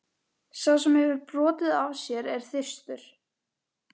Sá sem hefur brotið af sér er þyrstur.